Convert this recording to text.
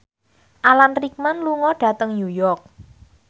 Alan Rickman lunga dhateng New York